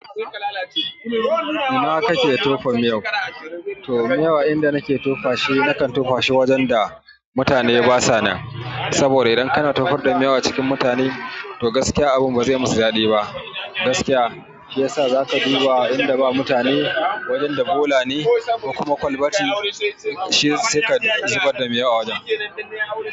Ina kake tofa miyau? To miyau inda nake tofashi nakan tofashi wajen da mutane basu nan saboda idan kana tofar da miyau a cikin mutane, to gaskiya abin bazai musu dadi ba. Gaskiya zaka bi wa inda ba mutane, wajen da bola ne, kuma kwalbati shi saika zubar da miyau a wajen.